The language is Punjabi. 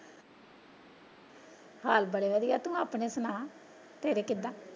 ਹਾਲ ਬੜੇ ਵਧੀਆ ਤੂੰ ਆਪਣੇ ਸੁਣਾ ਤੇਰੇ ਕਿੱਦਾ?